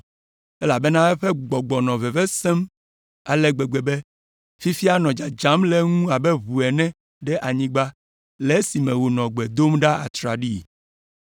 elabena eƒe gbɔgbɔ nɔ veve sem ale gbegbe be fifia nɔ dzadzam le eŋu abe ʋu ene ɖe anyigba le esime wònɔ gbe dom ɖa atraɖii.